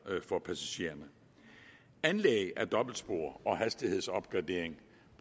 for passagererne anlæg af dobbeltspor og hastighedsopgradering